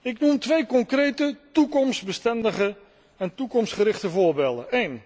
Ik noem twee concrete toekomstbestendige en toekomstgerichte voorbeelden